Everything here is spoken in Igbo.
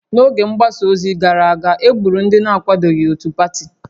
N'oge mgbasa ozi gara aga, e gburu ndị na-akwadoghị otu pati